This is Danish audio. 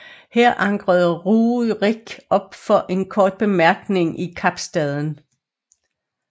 Her ankrede Rjurik op for en kort bemærkning i Kapstaden